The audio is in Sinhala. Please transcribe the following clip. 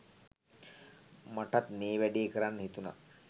මටත් මේ වැඩේ කරන්න හිතුනා.